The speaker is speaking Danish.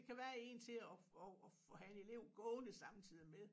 Kan være en til at at at at have en elev gående samtidig med